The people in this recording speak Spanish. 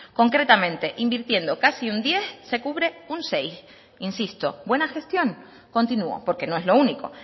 concretamente invirtiendo casi un diez se cubre un seis insisto buena gestión continúo porque no es lo único